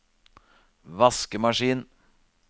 vaskemaskin